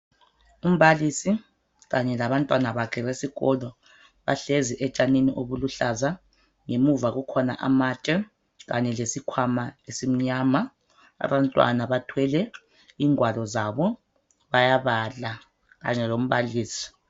Umbalisi Kanye labantwana bakhe besikolo bahlezi etshanini obuluhlaza ngemuva kukhona amatshe Kanye lesikhwama esimnyama. Abantwana bathwele ingwalo zabo bayabala kanye lombalisi.